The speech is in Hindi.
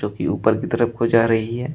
जो कि ऊपर की तरफ को जा रही है।